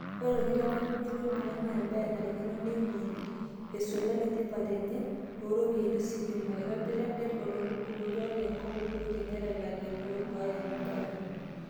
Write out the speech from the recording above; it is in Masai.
Oree olkitamanyunye loning'o naa ebae narikino niengori, eisulaki tipate enye tooropiyiani ositima, eitobira det oloitore enkop Uhuru kenyatta ilang'eni ooduaya ena baye.